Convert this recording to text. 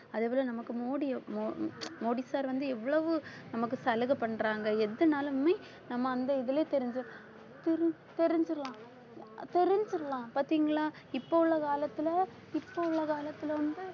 அதே போல நமக்கு மோடி மோ~ மோடி sir வந்து எவ்வளவு நமக்கு சலுகை பண்றாங்க எதுனாலுமே நம்ம அந்த இதுலயே தெரிஞ்ச~ தெரிஞ்சிரும் தெரிஞ்சிரலாம் பாத்தீங்களா இப்ப உள்ள காலத்துல இப்ப உள்ள காலத்துல வந்து